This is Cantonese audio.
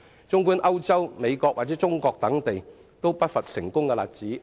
綜觀歐洲、美國或中國等地，皆不乏成功例子。